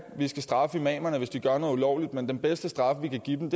vi skal straffe imamerne hvis de gør noget ulovligt men den bedste straf vi kan give dem